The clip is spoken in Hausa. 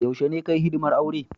Yaushe ne ka Yi hidimar aure?